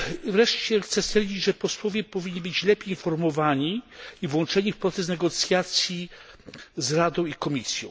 Wreszcie chcę stwierdzić, że posłowie powinni być lepiej informowani i włączeni w proces negocjacji z Radą i Komisją.